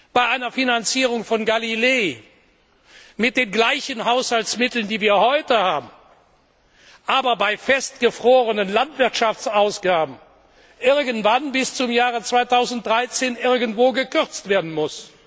bei einer Finanzierung von Galileo mit den gleichen Haushaltsmitteln, die wir heute haben, aber bei eingefrorenen Landwirtschaftsausgaben bis zum Jahre 2013 irgendwann irgendwo gekürzt werden muss.